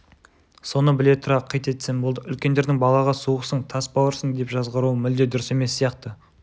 соны біле тұра қит етсем болды үлкендердің балаға суықсың тас бауырсың деп жазғыруы мүлде дұрыс емес сияқты